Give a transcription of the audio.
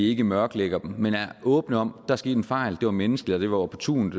ikke mørklægger dem men er åbne om at der er sket en fejl det var menneskeligt det var opportunt